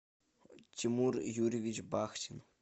тимур юрьевич бахтин